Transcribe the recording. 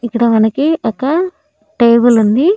ఇక్కడ మనకి ఒక టేబులుంది .